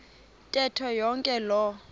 ntetho yonke loo